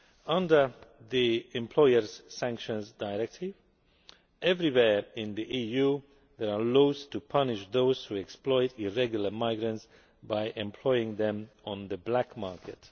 Under the Employers' Sanctions Directive, everywhere in the EU there are laws to punish those who exploit irregular migrants by employing them on the black market.